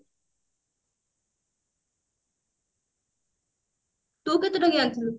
ତୁ କେତେ ଟଙ୍କିଆ ଆଣିଥିଲୁ